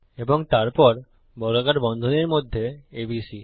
এবং তারপর বর্গাকার বন্ধনীর মধ্যে এবিসি